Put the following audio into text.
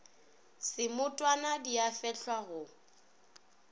semotwana di a fehlwa go